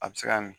A bɛ se ka min